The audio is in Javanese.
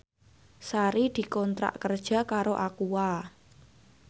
Sari dikontrak kerja karo Aqua